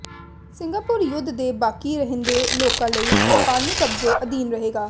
Singapore ਯੁੱਧ ਦੇ ਬਾਕੀ ਰਹਿੰਦੇ ਲੋਕਾਂ ਲਈ ਜਪਾਨੀ ਕਬਜ਼ੇ ਅਧੀਨ ਰਹੇਗਾ